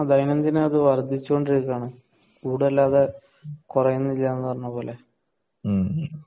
ദൈനം ദിനം അത് വർധിച്ചു കൊണ്ടിരിക്കയാണ് കൂടുകയല്ലാതെ കുറയുന്നില്ല